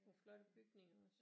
Nogle flotte bygninger også